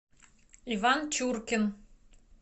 иван чуркин